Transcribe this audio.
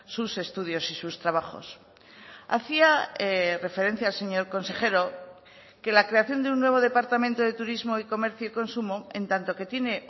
sus estudios y sus trabajos hacía referencia el señor consejero que la creación de un nuevo departamento de turismo y comercio y consumo en tanto que tiene